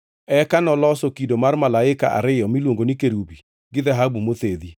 Eka noloso kido mar malaika ariyo miluongo ni kerubi gi dhahabu mothedhi.